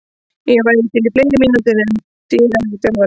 Ég væri til í fleiri mínútur en því ræður þjálfarinn.